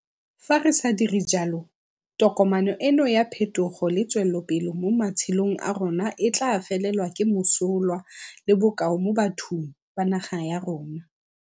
Fa re sa dire jalo, tokomane eno ya phetogo le tswelopele mo matshelong a rona e tla felelwa ke mosola le bokao mo bathong ba naga ya rona.